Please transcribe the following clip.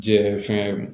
Jɛ fɛn